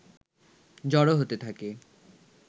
জড়ো হতে থাকে